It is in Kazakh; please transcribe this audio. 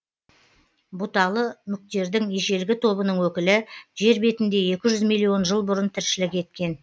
бұталы мүктердің ежелгі тобының өкілі жер бетінде миллион жыл бұрын тіршілік еткен